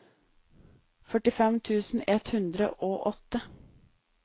førtifem tusen ett hundre og åtte